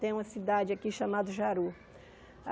Tem uma cidade aqui chamado Jaru.